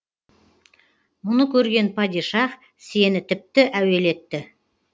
мұны көрген падишах сені тіпті әуелетті